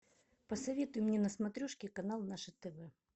посоветуй мне на смотрешке канал наше тв